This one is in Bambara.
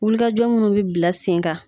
Wulikajɔ munnu bi bila sen ka